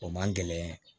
O man gɛlɛn